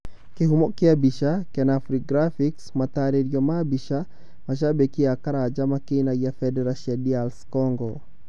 Kĩhumo kĩa mbica: Kenafri Graphics matarĩrio ma mbica: mashambiki a Karanja makĩinagia bendera cia DR Congo